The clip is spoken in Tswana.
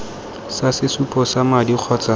sa sesupo sa madi kgotsa